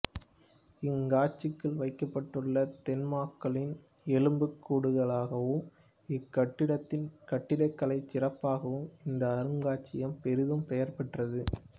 இங் காட்சிக்கு வைக்கப்பட்டுள்ள தொன்மாக்களின் எலும்புக் கூடுகளுக்காகவும் இக் கட்டிடத்தின் கட்டிடக்கலைச் சிறப்புக்காகவும் இந்த அரும்காட்சியகம் பெரிதும் பெயர் பெற்றது